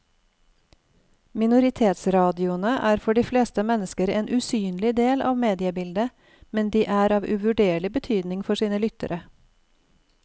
Minoritetsradioene er for de fleste mennesker en usynlig del av mediebildet, men de er av uvurderlig betydning for sine lyttere.